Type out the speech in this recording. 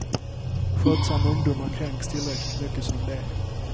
Skötsamma ungdomar kränks tillräckligt mycket som det är.